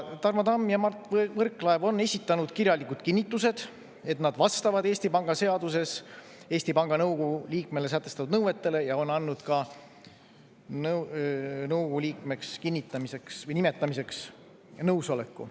Tarmo Tamm ja Mart Võrklaev on esitanud kirjalikud kinnitused, et nad vastavad Eesti Panga seaduses Eesti Panga nõukogu liikmele sätestatud nõuetele, ja on andnud ka nõukogu liikmeks nimetamiseks nõusoleku.